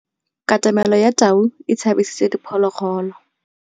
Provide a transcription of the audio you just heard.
Katamêlô ya tau e tshabisitse diphôlôgôlô.